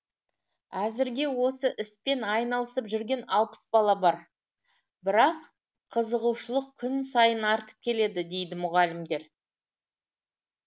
әзірге осы іспен айналысып жүрген алпыс бала бар бірақ қызығушылық күн сайын артып келеді дейді мұғалімдер